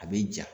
A bɛ ja